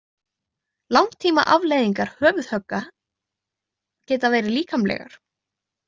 Langtímaafleiðingar höfuðhögga geta verið líkamlegar.